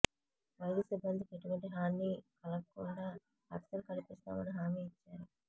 వైద్య సిబ్బందికి ఎటువంటి హానీ కలగకుండా రక్షణ కల్పిస్తామని హామీ ఇచ్చారు